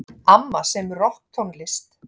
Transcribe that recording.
Amma semur rokktónlist.